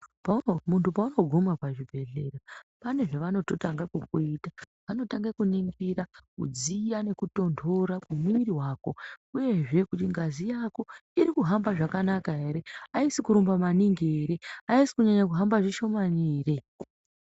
Muntu paunoguma pazvibhedhlera pane zvavanotanga kukuita vanotanga kuningira kudziya nekutondora kumuvuri wako uyezve kuti ngazi Yako iri kuhamba zvakanaka ere haisi kurumba maningi ere haisi kunyanya kuhamba zvishomani ere.